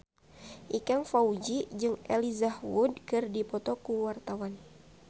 Ikang Fawzi jeung Elijah Wood keur dipoto ku wartawan